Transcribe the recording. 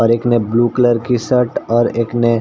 और एक ने ब्लू कलर की शर्ट और एक ने --